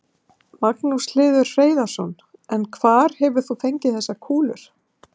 Magnús Hlynur Hreiðarsson: En hvar hefur þú fengið þessar kúlur?